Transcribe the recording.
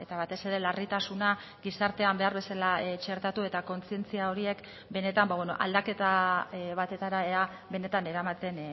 batez ere larritasuna gizartean behar bezala txertatu eta kontzientzia horiek benetan aldaketa batetara ea benetan eramaten